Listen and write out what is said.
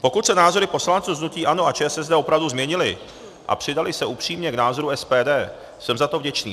Pokud se názory poslanců z hnutí ANO a ČSSD opravdu změnily a přidaly se upřímně k názoru SPD, jsem za to vděčný.